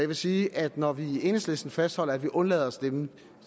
vil sige at når vi i enhedslisten fastholder at vi undlader at stemme